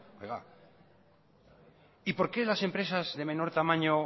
y por qué las empresas de menor tamaño